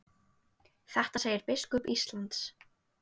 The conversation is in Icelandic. Þetta segir biskup Íslands.